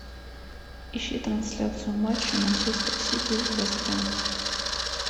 ищи трансляцию матча манчестер сити вест хэм